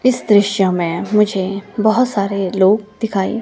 इस दृश्य में मुझे बहुत सारे लोग दिखाई--